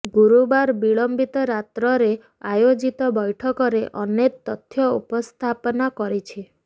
ଗୁରୁବାର ବିଳମ୍ବିତ ରାତ୍ରରେ ଆୟୋଜିତ ବୈଠକରେ ଅନେତ ତଥ୍ୟ ଉପସ୍ଥାପନା କରିଛି